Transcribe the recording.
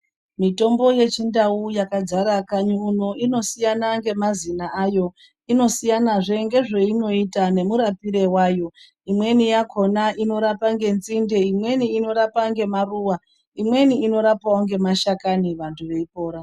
Mitombo yechindau yakadzara kanyi uno inosiyana ngemazina ayo, inosiyanazve ngezveinoita nemurapire wayo. Imweni yakhona inorapa ngenzinde, imweni inorapa ngemaruwa, imweni inorapawo ngemashakani, vantu veipora.